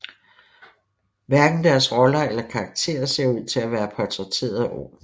Hverken deres roller eller karakter ser ud til at være portrætteret ordentligt